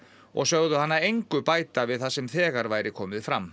og sögðu hana engu bæta við það sem þegar væri komið fram